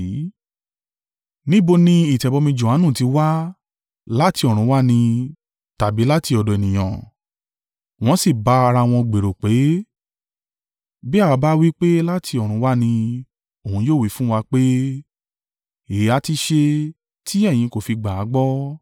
Níbo ni ìtẹ̀bọmi Johanu ti wa? Láti ọ̀run wá ni, tàbí láti ọ̀dọ̀ ènìyàn.” Wọ́n sì bá ara wọn gbèrò pé, “Bí àwa bá wí pé láti ọ̀run wá ni, òun yóò wí fún wa pé, ‘Èéha ti ṣe tí ẹ̀yin kò fi gbà á gbọ́?’